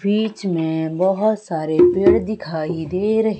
बीच में बहोत सारे पेड़ दिखाई दे रहे--